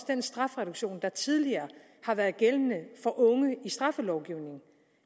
den strafreduktion der tidligere har været gældende for unge i straffelovgivningen